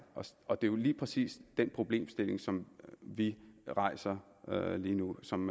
og det er lige præcis den problemstilling som vi rejser lige nu og som